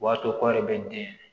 O b'a to kɔɔri bɛ den